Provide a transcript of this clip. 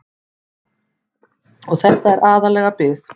Og þetta er aðallega bið.